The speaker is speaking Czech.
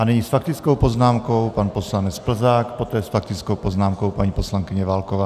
A nyní s faktickou poznámkou pan poslanec Plzák, poté s faktickou poznámkou paní poslankyně Válková.